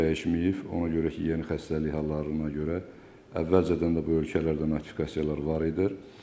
Bu dəyişməyib, ona görə ki, yeni xəstəlik hallarına görə əvvəlcədən də bu ölkələrdə notifikasiyalar var idi.